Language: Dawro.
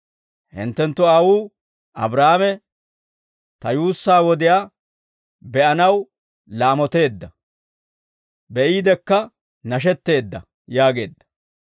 Hinttenttu aawuu Abraahaame, Ta yuussaa wodiyaa be'anaw laamoteedda; be'iidekka nashetteedda» yaageedda.